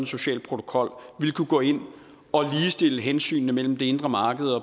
social protokol kunne gå ind og ligestille hensynene mellem det indre marked